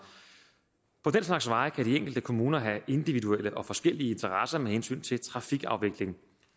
på den slags veje kan de enkelte kommuner have individuelle og forskellige interesser med hensyn til trafikafviklingen